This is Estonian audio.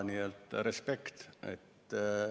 Nii et respekt!